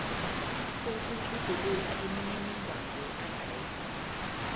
sokutjhugulula imininingwana yeadresi